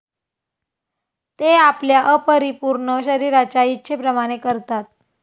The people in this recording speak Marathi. ते आपल्या अपरिपूर्ण शरीराच्या इच्छेप्रमाणे करतात.